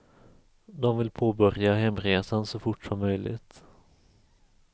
De vill påbörja hemresan så fort som möjligt.